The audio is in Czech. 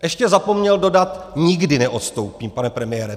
Ještě zapomněl dodat "nikdy neodstoupím", pane premiére.